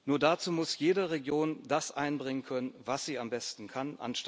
Nur muss dazu jede Region das einbringen können, was sie am besten kann.